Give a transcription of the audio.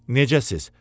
Necəsiz?